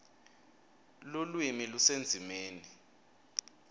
lulwimi lusendzimeni